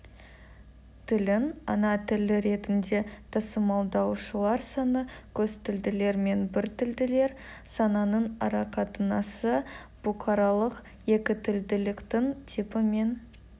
тілін ана тілі ретінде тасымалдаушылар саны қостілділер мен біртілділер санының арақатынасы бұқаралық екітілділіктің типі мен